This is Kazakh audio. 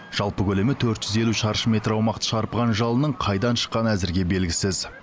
жалпы көлемі төрт жүз елу шаршы метр аумақты шарпыған жалынның қайдан шыққаны әзірге белгісіз